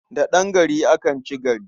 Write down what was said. Da ɗan gari akan ci gari.